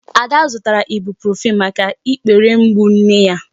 Ada zụtara Ibuprofen maka ikpere mgbu nne ya.